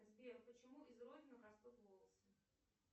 сбер почему из родинок растут волосы